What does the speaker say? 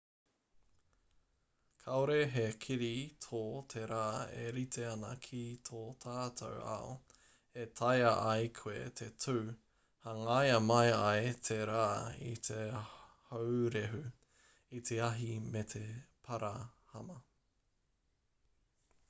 kāore he kiri tō te rā e rite ana ki tō tātou ao e taea ai koe te tū hangaia mai ai te rā i te haurehu i te ahi me te parahama